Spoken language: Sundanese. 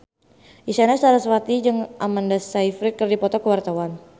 Isyana Sarasvati jeung Amanda Sayfried keur dipoto ku wartawan